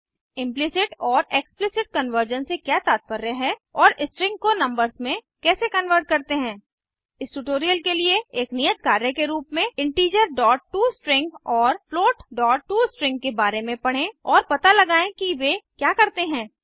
implicit और explicit conversion से क्या तात्पर्य है और स्ट्रिंग को नंबर्स में कैसे कन्वर्ट करते हैं इस ट्यूटोरियल के लिए एक नियत कार्य के रूप में integerटोस्ट्रिंग और floatटोस्ट्रिंग के बारे में पढ़ें और पता लगाएं कि वे क्या करते हैं